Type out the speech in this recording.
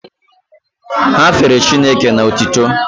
Ha fere Chineke n'otuto